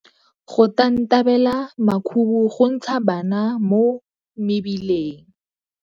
Go tantabela makhubu go ntsha bana mo mebileng.